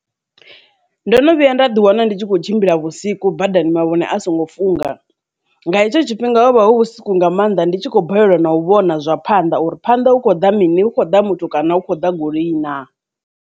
Ndo no vhuya nda ḓi wana ndi tshi khou tshimbila vhusiku badani mavhone a songo funga, nga hetsho tshifhinga ho vha hu vhusiku nga maanḓa ndi tshi khou balelwa na u vhona zwa phanḓa uri phanḓa hu khou ḓa mini, hu khou da muthu, kana hu khou ḓa goloi na.